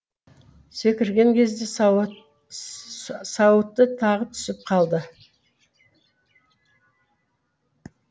секірген кезде сауыты тағы түсіп қалды